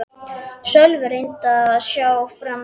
Sölvi reyndi að sjá framan í mig.